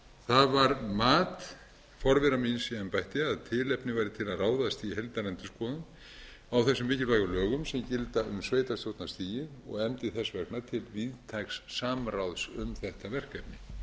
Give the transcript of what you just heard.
það var mat forvera míns í embætti að tilefni væri til að ráðast í heildarendurskoðun á þessum mikilvægu lögum sem gilda um sveitarstjórnarstigið og efndi þess vegna til víðtæks samráðs um þetta verkefni